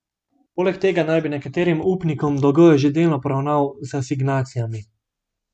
Poleg tega naj bi nekaterim upnikom dolgove že delno poravnal z asignacijami.